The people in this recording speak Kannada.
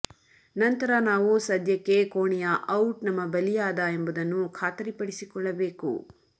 ನಂತರ ನಾವು ಸದ್ಯಕ್ಕೆ ಕೋಣೆಯ ಔಟ್ ನಮ್ಮ ಬಲಿಯಾದ ಎಂಬುದನ್ನು ಖಾತರಿಪಡಿಸಿಕೊಳ್ಳಬೇಕು